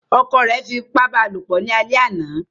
Ọkọ̀ ẹ fi ipá ba lopọ̀ ni àlè àná